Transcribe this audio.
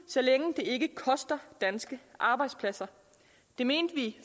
så længe det ikke koster danske arbejdspladser det mente vi